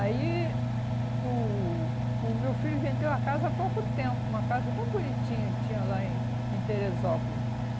Aí o o meu filho vendeu a casa há pouco tempo, uma casa tão bonitinha que tinha lá em em Teresópolis.